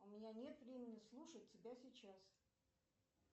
у меня нет времени слушать тебя сейчас